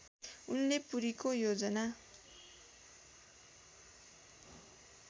उनले पुरीको योजना